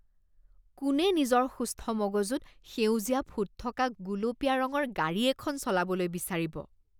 কোনে নিজৰ সুস্থ মগজুত সেউজীয়া ফুট থকা গুলপীয়া ৰঙৰ গাড়ী এখন চলাবলৈ বিচাৰিব?